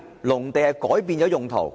何謂改變用途？